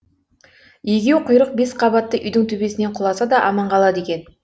егеуқұйрық бес қабатты үйдің төбесінен құласа да аман қалады екен